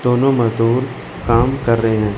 दोनों मजदूर काम कर रहे है।